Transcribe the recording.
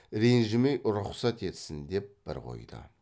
ренжімей рұқсат етсін деп бір қойды